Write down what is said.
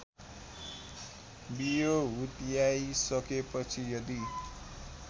बियो हुत्याइसकेपछि यदि